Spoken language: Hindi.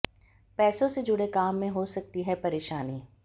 पैसों से जुड़े काम में हो सकती है परेशानी